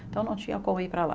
Então não tinha como ir para lá.